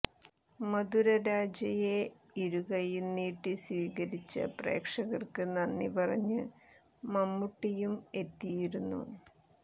മധുരരാജയെ ഇരുകൈയ്യും നീട്ടി സ്വീകരിച്ച പ്രേക്ഷകര്ക്ക് നന്ദി പറഞ്ഞ് മമ്മൂട്ടിയും എത്തിയിരുന്നു